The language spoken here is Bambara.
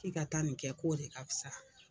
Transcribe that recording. I ka taa nin kɛ k'o de ka fisa